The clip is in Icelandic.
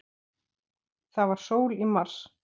Það var sól í mars.